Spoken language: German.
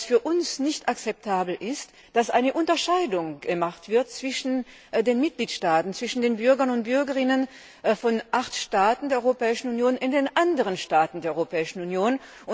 Was für uns nicht akzeptabel ist, ist, dass eine Unterscheidung getroffen wird zwischen den Mitgliedstaaten, zwischen den Bürgern und Bürgerinnen von acht Staaten der Europäischen Union und den anderen Staaten der Europäischen Union.